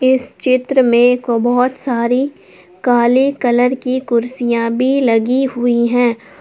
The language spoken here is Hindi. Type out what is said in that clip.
इस चित्र में बहोत सारी काले कलर की कुर्सियां भी लगी हुई है।